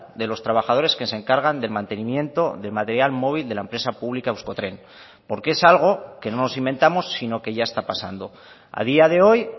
de los trabajadores que se encargan del mantenimiento de material móvil de la empresa pública euskotren porque es algo que no nos inventamos sino que ya está pasando a día de hoy